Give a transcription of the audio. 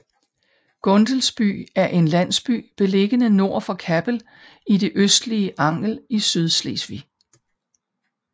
Gundelsby er en landsby beliggende nord for Kappel i det østlige Angel i Sydslesvig